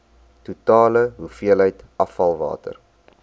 totale hoeveelheid afvalwater